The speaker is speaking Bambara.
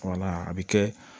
a bɛ kɛ